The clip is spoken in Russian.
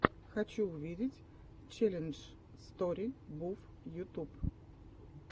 хочу увидеть челлендж стори буф ютюб